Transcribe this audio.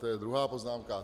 To je druhá poznámka.